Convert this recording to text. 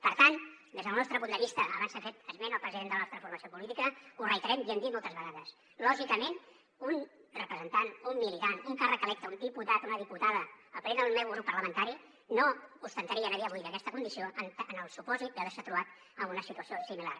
per tant des del nostre punt de vista abans s’ha fet esment del president de la nostra formació política ho reiterem i ho hem dit moltes vegades lògicament un representant un militant un càrrec electe un diputat una diputada a parer del meu grup parlamentari no ostentaria a dia d’avui aquesta condició en el supòsit d’haver se trobat en una situació similar